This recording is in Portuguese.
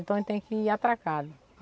Então ele tem que ir atracado.